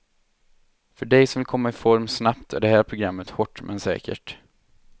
För dig som vill komma i form snabbt är det här programmet hårt men säkert.